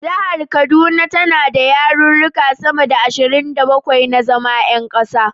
Jihar kaduna tana da yaruruka sama da ashirin da bakwai na zama yan kasa.